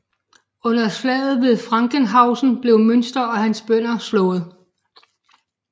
Under slaget ved Frankenhausen blev Müntzer og hans bønder slået